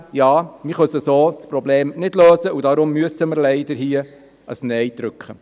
Trotzdem: Wir können das Problem so nicht lösen und müssen hier leider ein Nein drücken.